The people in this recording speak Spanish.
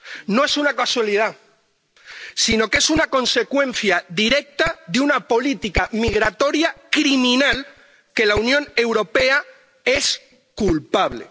No es una casualidad, sino que es una consecuencia directa de una política migratoria criminal de la que la Unión Europea es culpable.